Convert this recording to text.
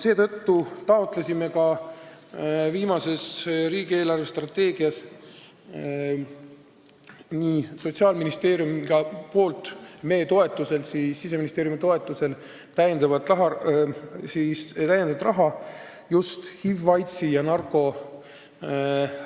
Seetõttu taotles viimases riigi eelarvestrateegias Sotsiaalministeerium meie toetusel, Siseministeeriumi toetusel täiendavat raha just HIV-i, aidsi ja narkomaania